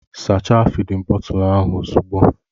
Sachaa fịdin bọtul ahụ ozugbo!